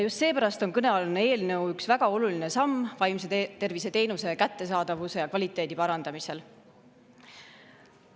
Just seepärast on kõnealune eelnõu üks väga oluline samm vaimse tervise teenuse kättesaadavuse ja kvaliteedi parandamisel.